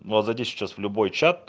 ну а зайди сейчас в любой чат